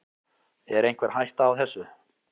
Er einhver hætta á þessu?